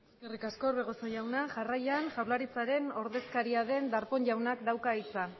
eskerrik asko orbegozo jauna jarraian jaurlaritzaren ordezkaria den darpón jaunak dauka hitza